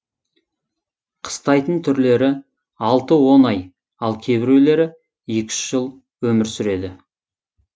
қыстайтын түрлері алты он ай ал кейбіреулері екі үш жыл өмір сүреді